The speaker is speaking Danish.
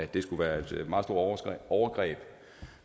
det skulle være et meget stort overgreb